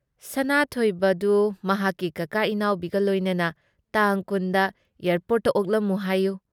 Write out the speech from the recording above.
ꯁꯅꯥꯊꯣꯏꯕꯗꯨ ꯃꯍꯥꯛꯀꯤ ꯀꯥꯀꯥ ꯏꯅꯥꯎꯕꯤꯒ ꯂꯣꯏꯅꯅ ꯇꯥꯡ ꯲꯰ ꯗ ꯑꯦꯌꯔꯄꯣꯔꯠꯇ ꯑꯣꯛꯂꯝꯃꯨ ꯍꯥꯏꯌꯨ ꯫